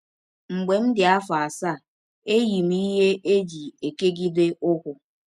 Mgbe m dị m afọ asaa, eyi m ihe e ji ekegide ụkwụ